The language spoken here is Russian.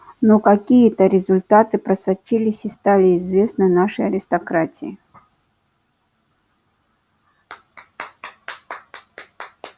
но какие то результаты просочились и стали известны нашей аристократии